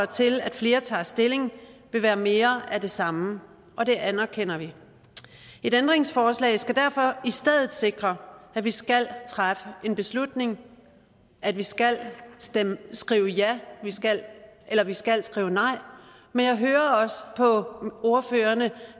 til at flere tager stilling vil være mere af det samme og det anerkender vi et ændringsforslag skal derfor i stedet sikre at vi skal træffe en beslutning at vi skal skrive ja eller vi skal skrive nej men jeg hører også på ordførerne